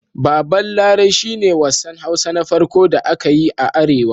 Baban Larai shi ne wassan Hausa Na farƙo da aka yi a Arewa.